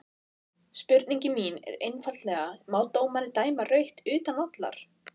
Spurningin mín er einfaldlega má dómari dæma rautt utan vallar?